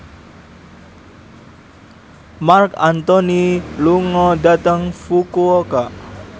Marc Anthony lunga dhateng Fukuoka